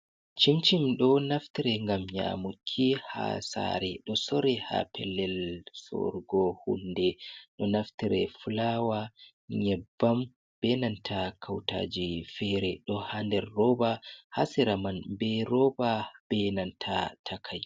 Cincim ɗo naftire ngam nyamuki ha sare, ɗo sore ha pelel sorugo hunde. Ɗo naftire fulawa, nyebbam be nanta kautaji fere. Ɗo ha nder roba ha sera man be roba be nanta takai.